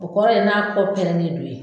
O kɔrɔ ye n'a kɔ pɛrɛnnen don ye